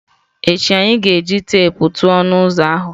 Echi anyị ga-eji teepu tụọ ọnụ ụzọ ahụ.